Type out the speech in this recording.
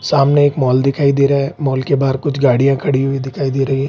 सामने एक मॉल दिखाई दे रहा है। मॉल के बाहर कुछ गाड़िया खड़ी हुवी दिखाई दे रही है।